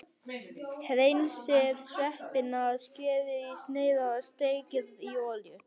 Hreinsið sveppina, skerið í sneiðar og steikið í olíu.